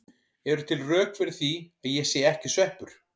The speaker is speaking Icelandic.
Eru til rök fyrir því að ég sé ekki sveppur?